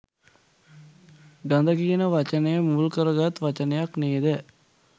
ගඳ කියන වචනය මුල් කරගත් වචනයක් නේ ද?